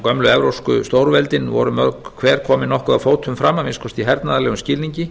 gömlu evrópsku stórveldin voru mörg hver komin nokkuð að fótum fram að minnsta kosti í hernaðarlegum skilningi